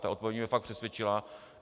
Ta odpověď mě fakt přesvědčila.